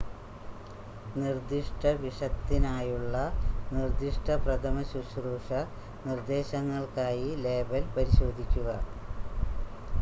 നിർദ്ദിഷ്ട വിഷത്തിനായുള്ള നിർദ്ദിഷ്ട പ്രഥമശുശ്രൂഷ നിർദ്ദേശങ്ങൾക്കായി ലേബൽ പരിശോധിക്കുക